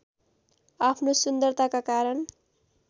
आफ्नो सुन्दरताका कारण